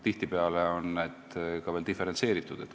Tihtipeale on see ka veel diferentseeritud.